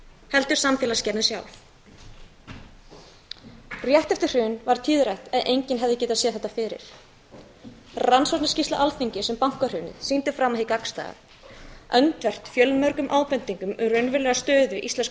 heldur samfélagsgerðin sjálf rétt eftir hrun varð mönnum tíðrætt um að enginn hefði getað séð þetta fyrir skýrsla rannsóknarnefndar alþingis um bankahrunið sýndi fram á hið gagnstæða öndvert við fjölmargar ábendingar um raunverulega stöðu íslensku